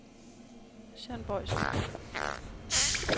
Jean Bojsen